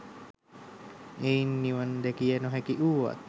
එයින් නිවන් දැකිය නොහැකි වුවත්